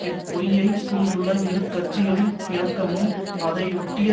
இப்பொய்யை சூழ்ந்துள்ள இரு கட்சிகளின் இணக்கமும் அதையொட்டிய